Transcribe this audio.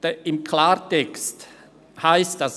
Im Klartext heisst dies: